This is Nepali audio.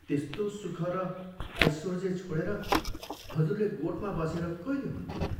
त्यस्तो सुख र ऐसोर्जे छोडेर हजुरले गोठमा बसेर कैले हुन्थ्यो?